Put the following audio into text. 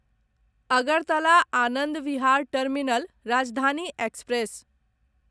Agartala Anand Vihar terminal Rajdhani express